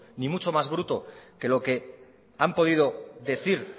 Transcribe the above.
ni mucho más bruto que lo que han podido decir